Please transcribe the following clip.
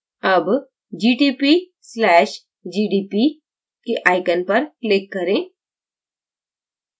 अब gtp/gdp के icon पर click करें